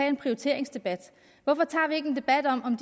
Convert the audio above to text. en prioriteringsdebat hvorfor tager vi ikke en debat om om